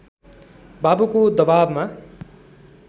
बाबुको दबाबमा